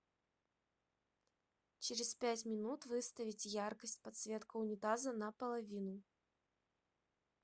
через пять минут выставить яркость подсветка унитаза на половину